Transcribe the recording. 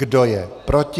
Kdo je proti?